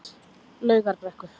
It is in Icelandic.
Laugarbrekku